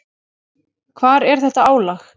Hvar er þetta álag?